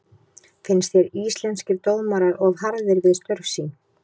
Finnst þér Íslenskir dómarar of harðir við störf sín?